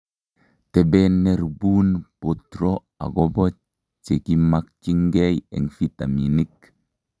Teben neribuun botro akobo chekimakyinkei eng' vitaminik